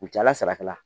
U cala saraka la